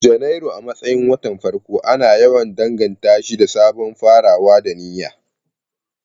Janairu, a matsayin watan farko, ana yawan danganta shi da sabon farawa da niyya.